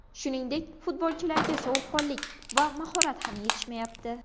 Shuningdek, futbolchilarga sovuqqonlik va mahorat ham yetishmayapti.